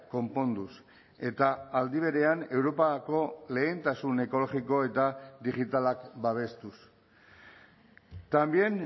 konponduz eta aldi berean europako lehentasun ekologiko eta digitalak babestuz también